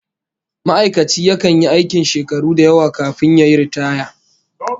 Ma'aikaci yakan yi aikin shakaru da yawa kafin yayi riitaya